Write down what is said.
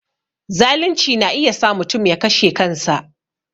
Zalunci na iya sa mutum ya kashe kansa